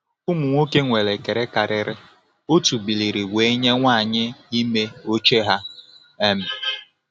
Ụmụ nwoke nwere ekele karịrị otu biliri wee nye nwanyị ime oche ha. um